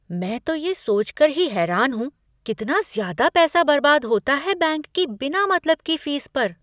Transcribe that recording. मैं तो ये सोच कर ही हैरान हूँ कितना ज़्यादा पैसा बर्बाद होता है बैंक की बिना मतलब की फीस पर।